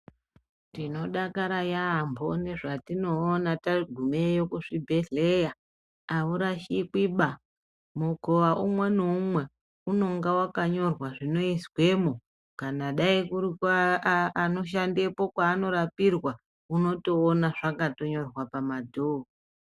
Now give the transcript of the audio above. Tinodakara yaamho ngezvatinoona tagumeyo kuzvibhedhlera. Aurashikwiba, mukowa umwe naumwe unenge wakanyorwa zvinoizwemo. Kana dai kuri kweanoshandepo kweanorapirwa, unotoona zvakatonyorwa pamadhowo.